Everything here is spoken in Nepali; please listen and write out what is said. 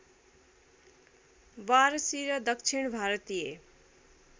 वारसी र दक्षिण भारतीय